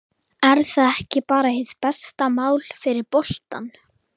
Er það ekki bara hið besta mál fyrir boltann?